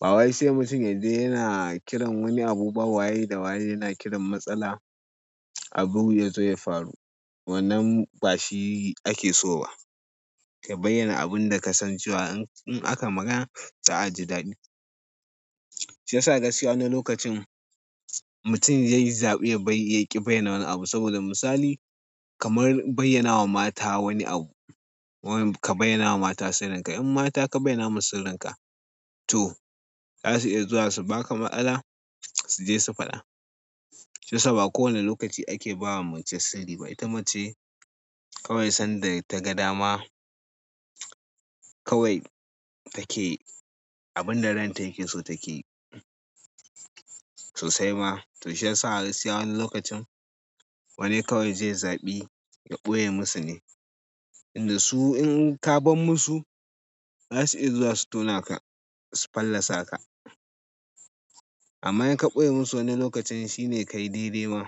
Bawai sai mutum yaje yana kiran wani abu ba waye da waye yana kiran matsala abu ya zo ya faru. Wannan ba shi ake so ba. Ka bayyana abun da ka san cewa in aka magana za a ji daɗi. Shi yasa gaskiya wani lokacin mutum zai yi zaɓi ya ƙi bayyana wani abu saboda misali kamar bayyana wa mata wani abu. Kamar ka bayyanawa mata sirrika, in mata ka bayyanawa sirrika to zasu iya zuwa su baka matsala suje su faɗa shi yasa ba kowane lokaci ake ba wa mace sarri ba. Ita mace kawai sanda ta ga dama kawai take abun da ranta yake so take yi. Sosai ma. To shi yasa gaskiya wani lokacin wane kawai zai yi zaɓi ya ɓoye musu ne. Inda su in ka ban musu za su iya zuwa su tona ka su fallasa ka. Amma in ka ɓoye musu wani lokacin shine ka yi dai-dai ma.